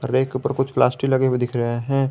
और एक ऊपर कुछ प्लास्टिक लगे हुए दिख रहे हैं।